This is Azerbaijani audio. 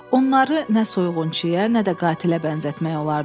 Onları nə soyğunçuya, nə də qatilə bənzətmək olardı.